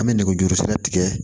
An bɛ nɛgɛjuru sira tigɛ